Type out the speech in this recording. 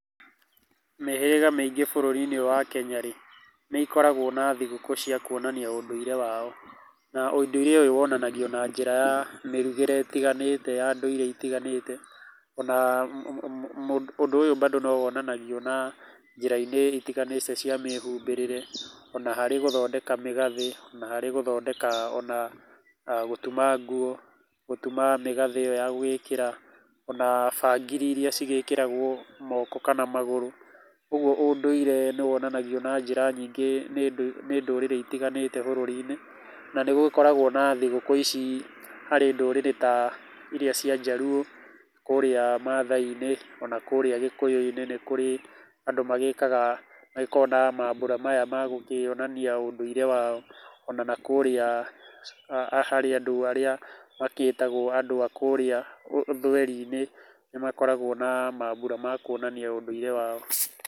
Mĩhĩrĩga mĩingĩ bũrũri-inĩ ũyũ wa Kenya rĩ, nĩ ikoragwo na thigũkũ cia kuonania ũndũire wao, na ũndũire ũyũ wonanagio na njĩra ya mĩrugĩre ĩtiganĩte ya ndũire itiganĩte. Ona ũndũ ũyũ mbandũ nowonanagio na njĩrainĩ itiganĩte cia mĩhumbĩrĩre, ona harĩ gũthondeka mĩgathĩ, na harĩ gũthondeka ona gũtuma nguo, gũtuma mĩgathĩ ĩyo ya gũĩkĩra, ona bangiri iria cigĩkĩragwo moko kana magũrũ. Ũguo ũndũire nĩwonanagio na njĩra nyingĩ nĩ ndũrĩrĩ itiganĩte bũrũri-inĩ na nĩgũkoragwo na thigũkũ ici harĩ ndũrĩrĩ ta iria cia njaruũ, kũũrĩa maathai-inĩ. Ona kũũrĩa gĩkũyũ-inĩ, nĩ kũrĩ andũ magĩkaga agĩkorwo na mambũra maya ma gũkĩonania ũndũire wao, ona nakũũrĩa harĩ andũ arĩa magĩtagwo andũ a kũũrĩa ũthweri-inĩ, nĩmakoragwo na mambura ma kuonania ũndũire wao.